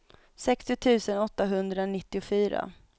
sextio tusen åttahundranittiofyra